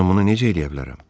Mən bunu necə eləyə bilərəm?